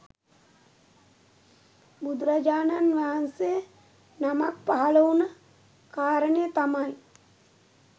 බුදුරජාණන් වහන්සේ නමක් පහළ වුණ කාරණය තමයි